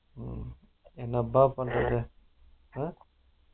உம் எனப்பா பண்றது silent உம்